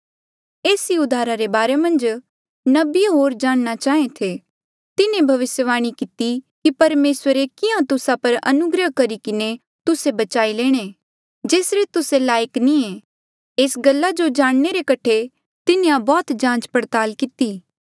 एस ही उद्धारा रे बारे मन्झ नबिये होर जाणना चाहें थे तिन्हें भविस्यवाणी किती कि परमेसरे कियां तुस्सा पर अनुग्रह करी किन्हें तुस्से बचाई लेणे जेसरे तुस्से लायक नी ऐें एस गल्ला जो जाणने रे कठे तिन्हें बौह्त जांचपड़ताल किती